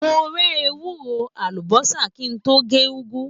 Mo rẹ́ ewúro, àlùbọ́sà kí n tó se Ẹ̀gúsí